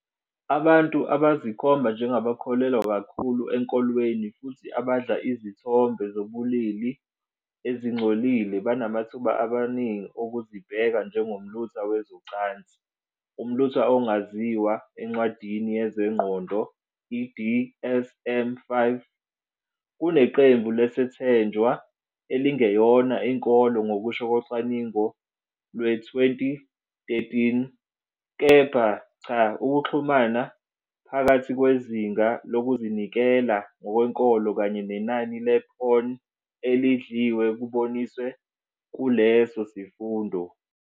Abantu abazikhomba njengabakholelwa kakhulu enkolweni futhi abadla izithombe zobulili ezingcolile banamathuba amaningi okuzibheka njengomlutha wezocansi, umlutha ongaziwa encwadini yezengqondo i-DSM-5, kuneqembu lesethenjwa elingeyona inkolo ngokusho kocwaningo lwe-2013, kepha cha Ukuxhumana phakathi kwezinga lokuzinikela ngokwenkolo kanye nenani le-porn elidliwe kuboniswe kuleso sifundo.